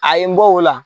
A ye n bɔ o la